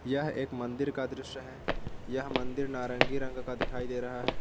यह एक मंदिर का दृश्य है यह मंदिर नारंगी रंग का दिखाई दे रहा है।